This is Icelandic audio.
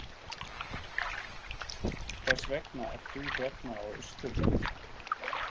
Hvers vegna ert þú hérna á Austurvelli?